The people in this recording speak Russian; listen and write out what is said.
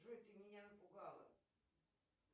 джой ты меня напугала